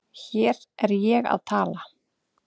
Hér er ég að tala